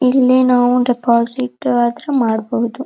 ಇಲ್ಲಿ ನಾವು ಡೆಪಾಸಿಟ್ ಆದ್ರು ಮಾಡಬಹುದು.